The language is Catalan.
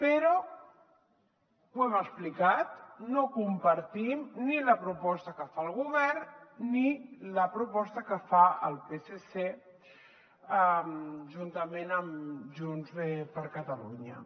però ho hem explicat no compartim ni la proposta que fa el govern ni la proposta que fa el psc juntament amb junts per catalunya